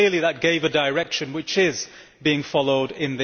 Clearly, that set a direction which is being followed here.